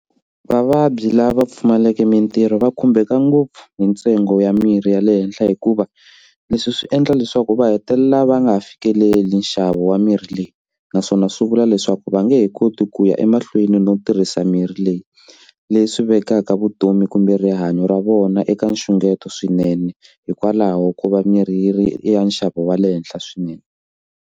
Vavabyi lava pfumalaka mintirho va khumbeka ngopfu hi ntsengo ya mirhi ya le henhla hikuva leswi swi endla leswaku va hetelela va nga fikeleli nxavo wa mirhi leyi naswona swi vula leswaku va nge he koti ku ya emahlweni no tirhisa mirhi leyi leswi vekaka vutomi kumbe rihanyo ra vona eka nxungeto swinene hikwalaho ko va mirhi yi ri eka nxavo wa le henhla swinene.